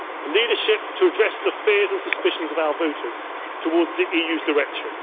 us leadership to address the fears and suspicions of our voters towards the EU's direction